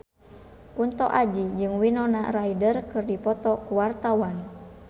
Kunto Aji jeung Winona Ryder keur dipoto ku wartawan